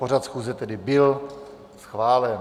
Pořad schůze tedy byl schválen.